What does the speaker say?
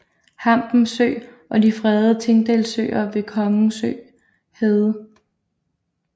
Hampen Sø og de fredede Tingdalsøer ved Kongsø Hede